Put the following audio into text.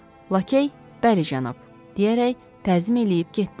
Lakay, bəli cənab, deyərək təzim eləyib getdi.